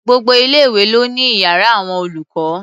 Gbogbo ilé-ìwé ló ní iyàrá àwọn olùkọ́.